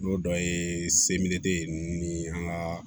N'o dɔ ye semeri ye ninnu ni an ka